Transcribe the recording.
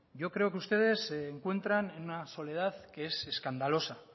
yo creo que ustedes se encuentran en una soledad que es escandalosa